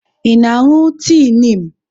Ị na-aṅụ tii Niim?